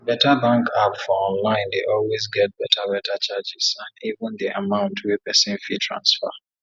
beta bank app for online dey always get beta beta charges and even di amount wey pesin fit transfer